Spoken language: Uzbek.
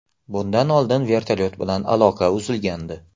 Bundan oldin vertolyot bilan aloqa uzilgandi.